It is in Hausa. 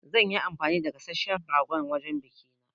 Za nyi anfani da gasasshen ragon wajen biƙin ne